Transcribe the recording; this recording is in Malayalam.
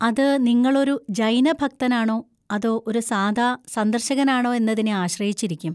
അത് നിങ്ങളൊരു ജൈന ഭക്തനാണോ അതോ ഒരു സാധാ സന്ദർശകനാണോ എന്നതിനെ ആശ്രയിച്ചിരിക്കും.